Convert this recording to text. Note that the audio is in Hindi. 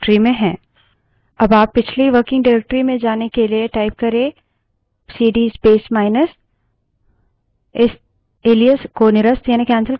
अब आप पिछली working directory में जाने के लिए prompt में सीडी space माइनस type कर सकते हैं